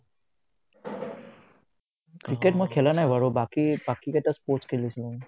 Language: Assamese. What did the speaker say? ক্ৰিকেট মই খেলা নাই বাৰু বাকী বাকী কেইটা sports খেলিছো